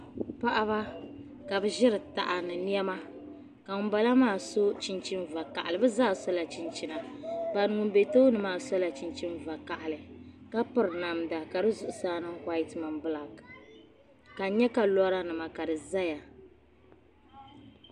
Paɣaba ka bi ʒiri taha ni niɛma ka ŋunbala maa so chinchin vakaɣali bi zaa sola chinchina ŋun bɛ tooni maa sola chinchin vakaɣali ka piri namda ka di zuɣusaa niŋ whait mini bilak ka n nyɛ ka lora nima ka di ʒɛya